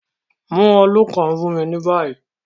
Mu òòlù kan fun mi ni bayi